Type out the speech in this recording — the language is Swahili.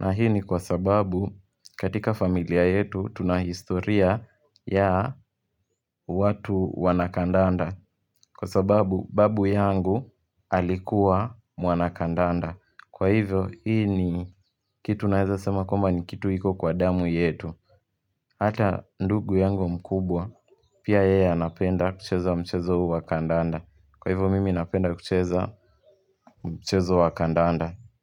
na hii ni kwa sababu katika familia yetu tuna historia ya watu wanakandanda Kwa sababu babu yangu alikuwa mwanakandanda Kwa hivyo hii ni kitu naeza sema kwamba ni kitu iko kwa damu yetu Hata ndugu yangu mkubwa pia yeye anapenda kucheza wa mchezo wa kandanda Kwa hivyo mimi napenda kucheza mchezo wa kandanda.